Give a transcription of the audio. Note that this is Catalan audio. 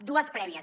dues prèvies